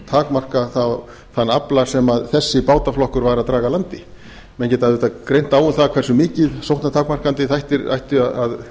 takmarka þann afla sem þessi bátaflokkur var að draga að landi menn getur auðvitað greint á um það hversu mikið sóknartakmarkandi þættir þeir ættu að